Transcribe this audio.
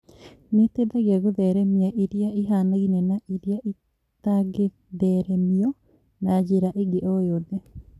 Nĩiteithagia gũtheremia iria ĩhanaine na iria itangĩ theremio na njĩra ingĩ oyothe